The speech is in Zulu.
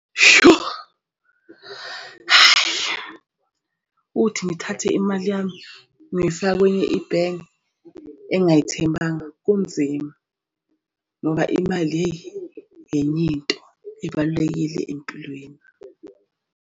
Sho, hayi uthi ngithathe imali yami ngoyifaka kwenye ibhenki engingayithembanga kunzima ngoba imali yeyi into ebalulekile empilweni.